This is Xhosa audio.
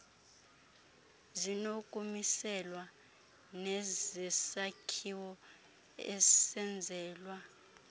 zinokumiselwa nezesakhiwo esenzelwa